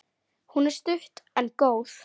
Hún er stutt en góð.